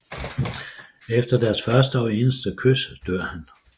Efter deres første og eneste kys dør han